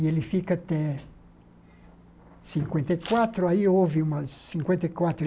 E ele fica até cinquenta e quatro, aí houve umas... cinquenta e quatro